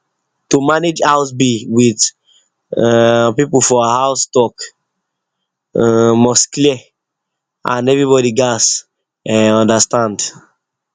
to manage house bill with um people for house talk um must clear and everybody gats understand